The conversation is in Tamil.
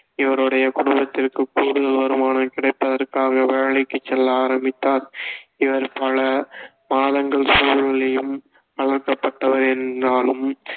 இவருடைய குடும்பத்திற்கு கூடுதல் வருமானம் கிடைப்பதற்காக வேலைக்குச் செல்ல ஆரம்பித்தார் இவர் பல மாதங்கள் சூழ்நிலையும் வளர்க்கப்பட்டவர் என்றாலும்